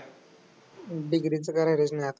Degree तर कराय पाहिजे ना.